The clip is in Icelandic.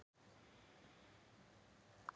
Henning Jónasson Fallegasta knattspyrnukonan?